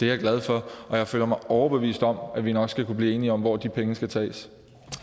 jeg glad for og jeg føler mig overbevist om at vi nok skal kunne blive enige om hvor de penge skal tages